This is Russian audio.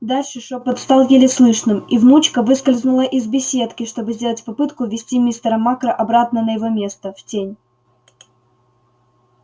дальше шёпот стал еле слышным и внучка выскользнула из беседки чтобы сделать попытку увести мистера макра обратно на его место в тень